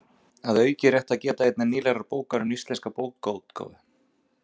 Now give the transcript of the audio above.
Að auki er rétt er að geta einnar nýlegrar bókar um íslenska bókaútgáfu